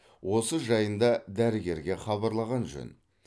осы жайында дәрігерге хабарлаған жөн